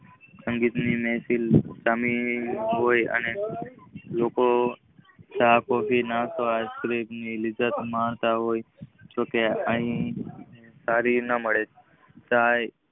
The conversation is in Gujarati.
સંગીત ની મહેફિલ સામીલ હોય અને લોકો ગાહક ને ઈસેક્રેમ ની લિજ્જત મળવા હોય સારી ના હોય.